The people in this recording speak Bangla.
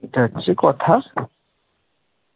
এটা হচ্ছে কথা